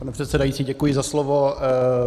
Pane předsedající, děkuji za slovo.